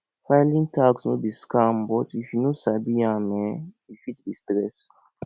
filing tax no be scam but if you no sabi am um e fit be stress